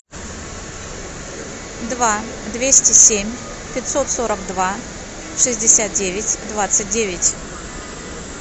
два двести семь пятьсот сорок два шестьдесят девять двадцать девять